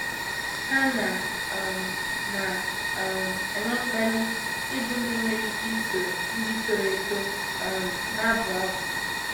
Ha na um na um - enwe mkpali ịbụ ndị nwere ike isoro ndị toro eto um na - abụ abụ.